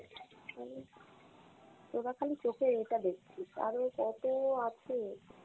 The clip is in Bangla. তোরা খালি চোখে এইটা দেখছিস, আরও কতো আছে।